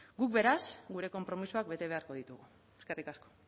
guk beraz gure konpromisoak bete beharko ditugu eskerrik asko